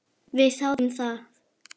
Við þáðum það.